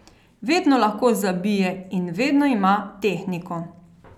Vedno lahko zabije in vedno ima tehniko.